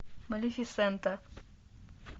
малефисента